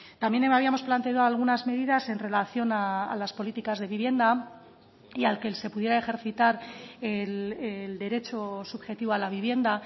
también habíamos planteado algunas medidas en relación a las políticas de vivienda y al que se pudiera ejercitar el derecho subjetivo a la vivienda